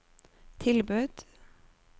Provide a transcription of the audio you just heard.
tilbud